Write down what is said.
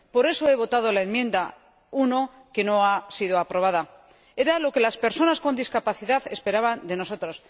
Por eso he votado la enmienda 1, que no ha sido aprobada. Era lo que las personas con discapacidad esperaban de nosotros.